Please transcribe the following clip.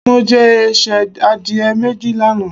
Mo jẹ ẹsẹ̀ adìẹ méjì lánàá.